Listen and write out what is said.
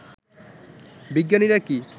বিজ্ঞানীরা কি